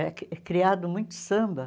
É cri é criado muito samba.